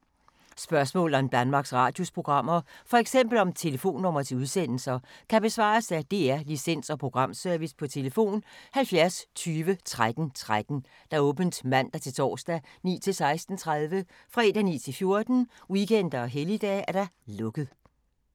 Spørgsmål om Danmarks Radios programmer, f.eks. om telefonnumre til udsendelser, kan besvares af DR Licens- og Programservice: tlf. 70 20 13 13, åbent mandag-torsdag 9.00-16.30, fredag 9.00-14.00, weekender og helligdage: lukket.